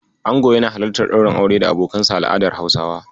Ango yana halartar ɗaurin aure da abokanansa a al'adar Hausawa.